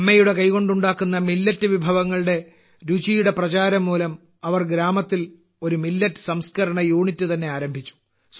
അമ്മയുടെ കൈകൊണ്ട് ഉണ്ടാക്കുന്ന മില്ലറ്റ് വിഭവങ്ങളുടെ രുചിയുടെ പ്രചാരംമൂലം അവർ ഗ്രാമത്തിൽ ഒരു മില്ലറ്റ് സംസ്ക്കരണ യൂണിറ്റ് തന്നെ ആരംഭിച്ചു